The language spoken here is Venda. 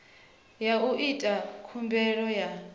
ya u ita khumbelo ya